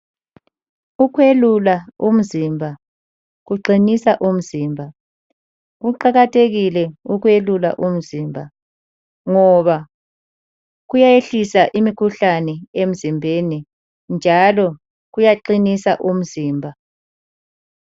Ukwelula umzimba kuqinisa umzimba. Kuqakathekile ukwelula umzimba ngoba kuyayehlisa imikhuhlane emzimbeni njalo kuyaqinisa umzimba.